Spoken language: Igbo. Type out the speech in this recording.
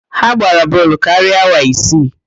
Ha gbara bọọlụ karịa awa isii